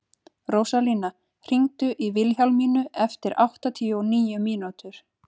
Rósalía, hringdu í Vilhjálmínu eftir áttatíu og níu mínútur.